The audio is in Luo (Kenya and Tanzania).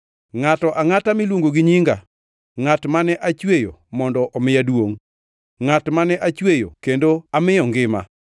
ngʼato angʼata miluongo gi nyinga, ngʼat mane achweyo mondo omiya duongʼ, ngʼat mane achweyo kendo amiyo ngima.”